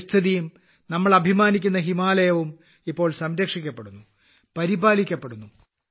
പരിസ്ഥിതിയും നമ്മൾ അഭിമാനിക്കുന്ന ഹിമാലയവും ഇപ്പോൾ സംരക്ഷിക്കപ്പെടുന്നു പരിപാലിക്കപ്പെടുന്നു